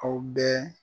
Aw bɛɛ